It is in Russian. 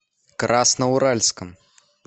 красноуральском